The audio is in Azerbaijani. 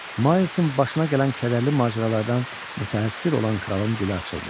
Maysın başına gələn kədərli macəralardan mütəəssir olan kralın dili açıldı.